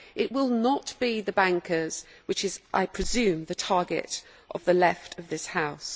It will not be the bankers, who are, I presume, the target of the left of this House.